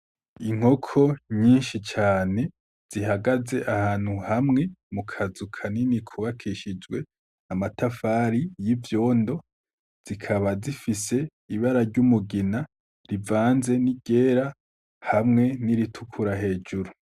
Inkoko nyinshi cane zihagaze ahantu hamwe mu kazu kanini kubakishijwe amatafari y'ivyondo, zikaba zifise ibara ry'umugina rivanze n'iryera hamwe n'iritukura hejuru.